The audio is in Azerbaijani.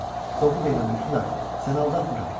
Doğru deyirəm, hökmdar, səni aldatmıram.